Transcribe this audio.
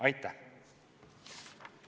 Aitäh!